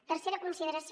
tercera consideració